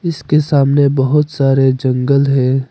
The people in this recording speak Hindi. इसके सामने बहुत सारे जंगल है।